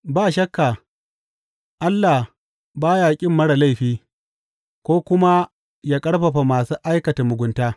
Ba shakka, Allah ba ya ƙin marar laifi, ko kuma yă ƙarfafa masu aikata mugunta.